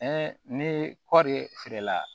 ni kɔɔri feere la